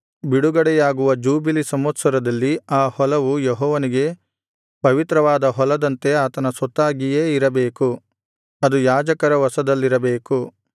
ಬಿಡುಗಡೆಯಾಗುವ ಜೂಬಿಲಿ ಸಂವತ್ಸರದಲ್ಲಿ ಆ ಹೊಲವು ಯೆಹೋವನಿಗೆ ಪವಿತ್ರವಾದ ಹೊಲದಂತೆ ಆತನ ಸೊತ್ತಾಗಿಯೇ ಇರಬೇಕು ಅದು ಯಾಜಕರ ವಶದಲ್ಲಿರಬೇಕು